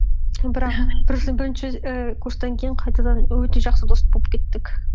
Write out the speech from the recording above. бірақ бірінші ііі курстан кейін қайтадан өте жақсы дос болып кеттік